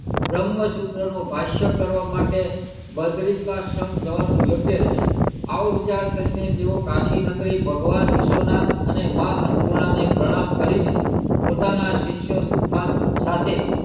બ્રહ્મ શુત્ર નો ભસ્યા કરવા માટે બદ્રિકાશી જવાનો યોગ્ય રહશે એવો વિચાર કરી ને તેઓ કાશીનગરી ભગવાન વિશ્વનાથ અને માં અન્નપૂર્ણા ને પ્રણામ કરી ને પોતાના શિષ્યો સાથે